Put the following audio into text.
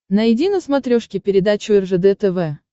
найди на смотрешке передачу ржд тв